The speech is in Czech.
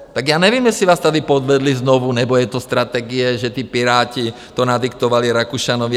Tak já nevím, jestli vás tady podvedli znovu, nebo je to strategie, že ti Piráti to nadiktovali Rakušanovi.